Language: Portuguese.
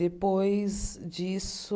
Depois disso,